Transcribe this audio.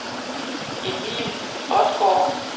Emil Odgaard